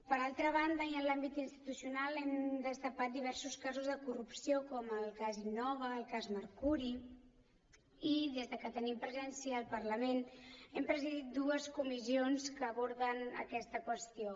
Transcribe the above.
per altra banda i en l’àmbit institucional hem destapat diversos casos de corrupció com el cas innova el cas mercuri i des que tenim presència al parlament hem presidit dues comissions que aborden aquesta qüestió